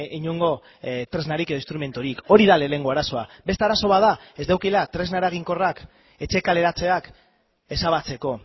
inongo tresnarik edo instrumenturik hori da lehenengo arazoa beste arazo bat da ez daukatela tresna eraginkorrik etxe kaleratzeak ezabatzeko